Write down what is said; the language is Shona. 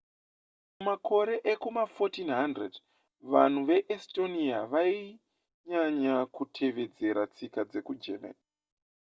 mumakore ekuma1400 vanhu vekuestonia vainyanya kutevedzera tsika dzekugermany